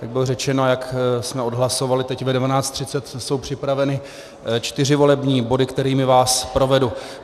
Jak bylo řečeno, jak jsme odhlasovali, teď ve 12.30 jsou připraveny čtyři volební body, kterými vás provedu.